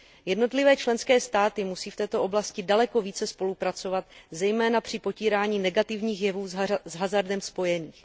Jednotlivé členské státy musí v této oblasti daleko více spolupracovat, zejména při potírání negativních jevů s hazardem spojených.